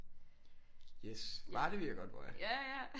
Yes Varde ved jeg godt hvor er